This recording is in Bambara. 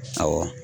Awɔ